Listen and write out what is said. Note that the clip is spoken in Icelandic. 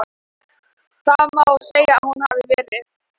Það má segja að hún hafi verið.